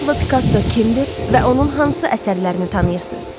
Pablo Pikasso kimdir və onun hansı əsərlərini tanıyırsız?